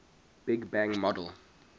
big bang model